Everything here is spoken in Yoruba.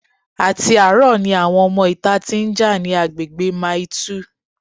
Àti àárọ̀ ni àwọn ọmọ ìta tí ń jà ní agbègbè Mile 2